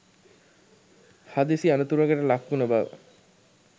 හදිසි අනතුරකට ලක් උන බව